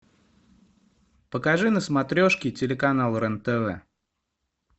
покажи на смотрешке телеканал рен тв